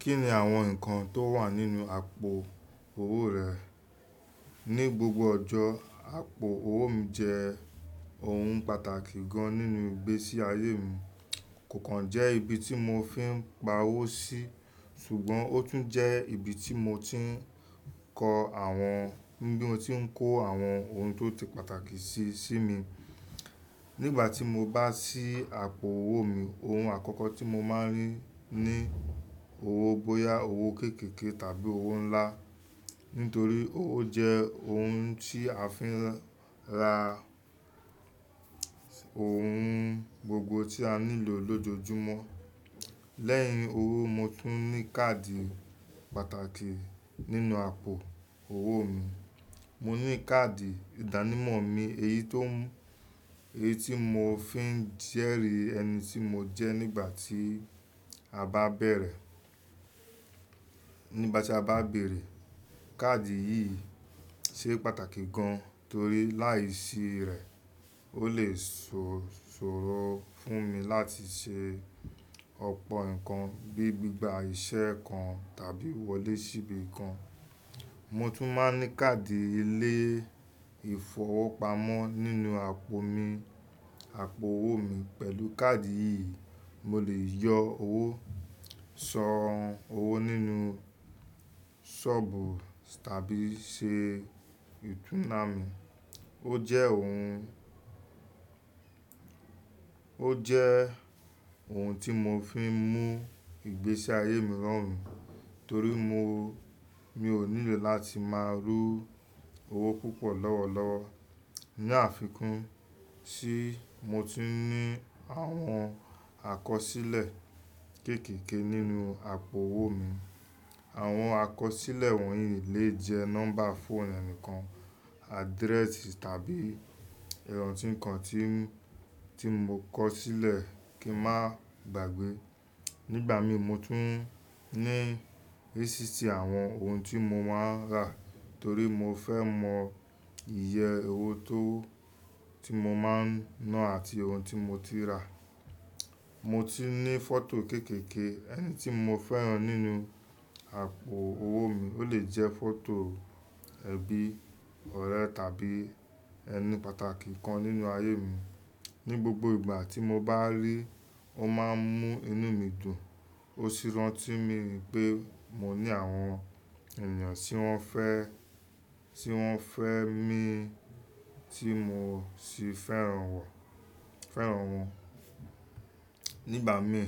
Kí ni àwọn ǹkan tó wà nínú àpò owó rẹ? Ni gbògbò ọjọ́, àpò owó mi jẹ́ òhún pàtàkì gan nínú ìgbésí ayé mi. Kò kàn jẹ́ ibi tí mo fi ń pa owó sí, ṣùgbọ́n ó tún jẹ́ ibi tí mo ti ń kọ àwọn, bí mo ti ń kó àwọn ohun tó ti pàtàkì sí, sí mi. Nígbà tí mó bá sí àpò owó mi, ohun àkọ́kọ́ tí mo máa ń rí ni owó bóyá owó kéékèèké tàbí owó ńlá, nítorí owó jẹ́ òhún tí a fi ń ra ohún gbògbò tí a nílò lójoojúmọ́. Lẹ́yìn owó, mo tún ní káàdì pàtàkì nínú àpò owó mi. Mó ní káàdì ìdánimọ̀ mí, èyí tó, èyí tí mo fi ń jẹ́rì ẹni tí mo jẹ́ nígbà tí a bá bẹ̀rẹ̀, nígbà tí a bá béèrè. Káàdì yìí ṣe pàtàkì gàn tórí láìsí rẹ̀ ó lè ṣòro fún mi láti ṣe ọ̀pọ̀ ǹkan bíi gbígba ìṣe kàn tàbí wọlé sí ibi kàn. Mo tún máa ń ní káàdì ilé ìfowópamọ́ nínú àpò mi, àpò owó mi. Pẹ̀lú káàdì yìí moó lè yọ owó, sàn owó nínú ṣọ́ọ̀bù tàbí ṣe ìtúná mi. Ó jẹ́ ohun, ó jẹ́ ohún tí mó fi ń mú ìgbésí ayé mi rọrùn torí mó, mí ò nílò láti máa rú owó púpọ̀ lọ́wọ̀lọ́wọ́. Ni àfikún, ṣí mo tún ní àwọn àkọsílẹ̀ kéékèèké nínú àpò owó mi. Àwọn àkọsílẹ̀ wọ̀nyí lè jẹ́ nọ́mbà fóònù ẹnìkan, adréèsì tàbí iranti ǹkan tí, tí mo kọ sílẹ̀ kí ń máa gbàgbé. Nígbà mí mó tún ní rísítì àwọn òhún tí mó máa ń rà torí mo fẹ́ mọ iye owó tó, tí mó máa ń ná àti òhún tí mó ti rà. Mó tún ní fọ́tò kéékèèké ẹni tí mó fẹ́ràn nínú àpò owó mi. Ó lè jẹ́ fọ́tò ẹbí, ọ̀rẹ́ tàbí ẹní pàtàkì kàn nínú ayé mi. Ní gbògbò ìgbà tí mó bá rí i, ó máa ń mú inú mi dùn. Ó sì rántí mi pé mo ní àwọn ènìyàn tí wọ́n fẹ́, tí wọ́n fẹ́ mi tí mo sì fẹ́ràn wọ́n, fẹ́ràn wọn. Nígbà mí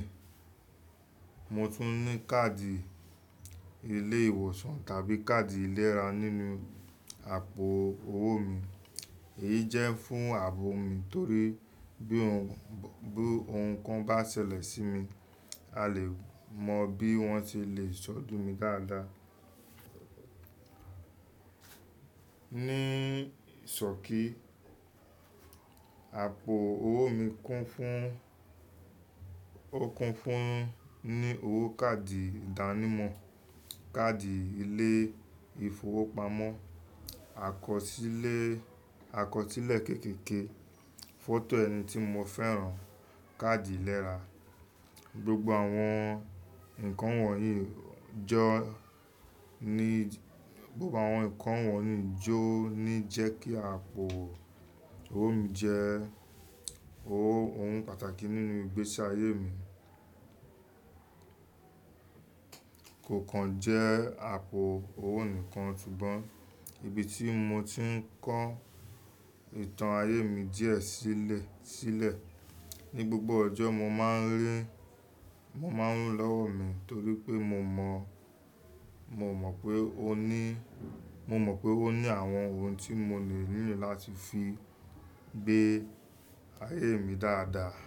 mó tún ní káàdì ilé ìwòsàn tàbí káàdì ìlèrá nínú àpò owó mi. Èyí jẹ́ fún ààbò mi torí bí òhún, bí òhún kàn bá ṣẹlẹ̀ sí mi, a lè mọ bí wọ́n ṣe lè ṣọdún mi dáadáa. Ni ìsọ̀rí, àpò owó mi kún fún, ó kún fún un ní owó káàdì ìdánimọ̀, káàdì ilé ìfowópamọ́, àkọsílẹ̀, àkọsílẹ̀ kéékèèké, fọ́tò ẹni tí mo fẹ́ràn, káàdì ìlèrá. Gbògbò àwọn ǹkan wọ̀nyí jọ́ ni, gbògbò àwọn ǹkan wọ̀nyí jó ni jẹ́ kí àpò owó mi jẹ́ owó, òhún pàtàkì nínú ìgbésí ayé mi. Kò kàn jẹ́ àpò owó nìkan, ṣùgbọ́n ibi tí mo ti ń kọ ìtàn ayé mi díẹ̀ sílẹ̀, sílẹ̀. Ni gbògbò ọjọ́ mó máa ń rí i, mó máa ń rún lọ́wọ́ mi torí pé mo mọ̀, mo mọ̀ pé ó ní, mo mọ̀ pé ó ní àwọn ohun tí mo le nílò láti fi gbé ayé mi dáadáa.